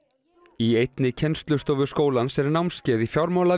í einni kennslustofu skólans er námskeið í